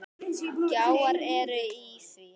Gjár eru í því.